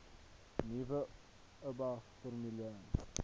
nuwe oba formulering